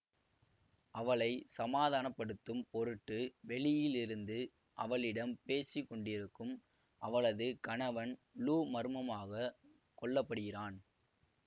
அவளை சமாதான படுத்தும் பொருட்டு வெளியில் இருந்து அவளிடம் பேசிகொண்டிருக்கும் அவளது கணவன் லூ மர்மமாக கொல்ல படுகிறான்